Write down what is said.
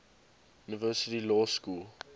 university law school